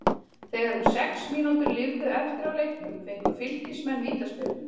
Þegar um sex mínútur lifðu eftir af leiknum fengu Fylkismenn vítaspyrnu.